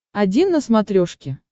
один на смотрешке